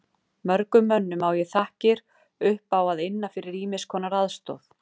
Mörgum mönnum á ég þakkir upp að inna fyrir ýmiss konar aðstoð.